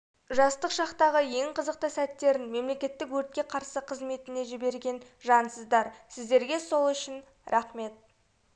жастық шақтағы ең қызықты сәттерін мемлекеттік өртке қарсы қызметіне жіберген жансыздар сіздерге сол үшін рақмет